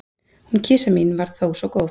Hún kisa mín var þó svo góð.